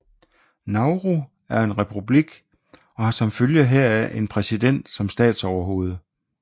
Nauru er en republik og har som følge heraf en præsident som statsoverhoved